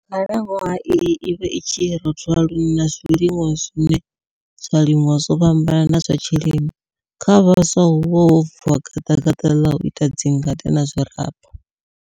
Khalanwaha iyi i vha i tshi rothola lune na zwilinwa zwine zwa limiwa zwo fhambana na zwa tshilimo. Kha vhaswa huvha ho vuwa gaḓagaḓa ḽa u ita dzingade na zwiraba.